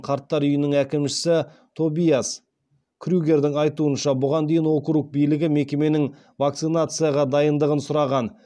қарттар үйінің әкімшісі тобиас крюгердің айтуынша бұған дейін округ билігі мекеменің вакцинацияға дайындығын сұраған